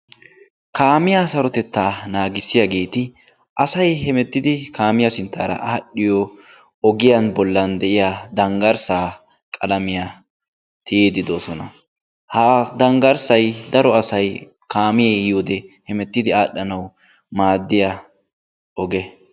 Kaamiya sarotettaa naagissiyageti asay hemettidi kaamiya sinttaara aadhdhiyo ogiyan bollan de'iya danggarssaa qalamiya tiyiddi doosona. Ha danggarssay daro asay kaamee yiyode hemettidi aadhdhanawu maaddiya oge.